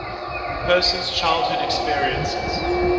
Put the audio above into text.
person's childhood experiences